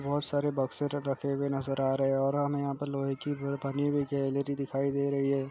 बहुत सारे बक्से रखे हुए नजर आ रहे हैं और हमें यहाँ पर लोहे की बनी हुई गैलरी दिखाई दे रही हैं।